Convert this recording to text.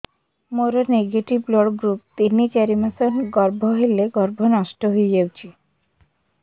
ମୋର negative blood group ତିନ ଚାରି ମାସ ଗର୍ଭ ହେଲେ ଗର୍ଭ ନଷ୍ଟ ହେଇଯାଉଛି